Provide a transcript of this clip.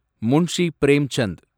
Munshi Premchand